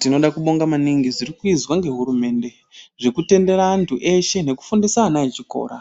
Tinoda kubonga maningi zvirikuizwa ngehurumende zvekutendera antu eshe nekufundisa ana echikora